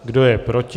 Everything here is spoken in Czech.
Kdo je proti?